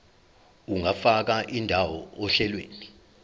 ungafaka indawo ohlelweni